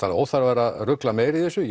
óþarfi að rugla meira í þessu